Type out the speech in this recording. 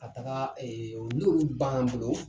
Ka taga ɛɛ n' olu banan an bolo